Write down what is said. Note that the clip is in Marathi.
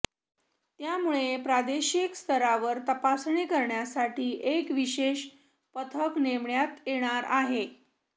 त्यामुळे प्रादेशिक स्तरावर तपासणी करण्यासाठी एक विशेष पथक नेमण्यात येणार आहे